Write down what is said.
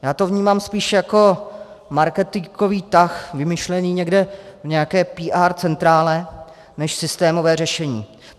Já to vnímám spíš jako marketingový tah vymyšlený někde v nějaké PR centrále než systémové řešení.